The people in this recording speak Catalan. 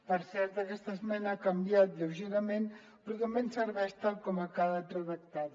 per cert aquesta esmena ha canviat lleugerament però també ens serveix tal com ha quedat redactada